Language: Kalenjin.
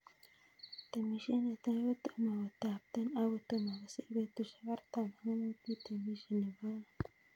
Temishe netai kotomo kotapton ak kotomo kosir petushuk artam ak mut itemishe nebo aeng'